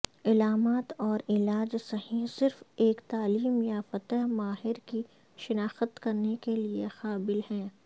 علامات اور علاج صحیح صرف ایک تعلیم یافتہ ماہر کی شناخت کرنے کے قابل ہے